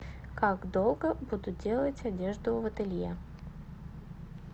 как долго будут делать одежду в ателье